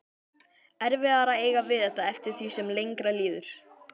Erfiðara að eiga við þetta eftir því sem lengra líður.